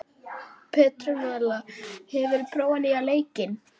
Petrónella, hefur þú prófað nýja leikinn?